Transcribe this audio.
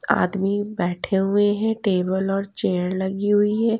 आदमी बैठे हुए हैं टेबल और चेयर लगी हुई है।